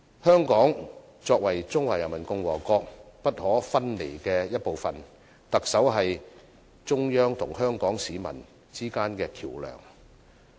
香港作為中華人民共和國不可分離的一部分，特首是中央與香港市民之間的橋樑。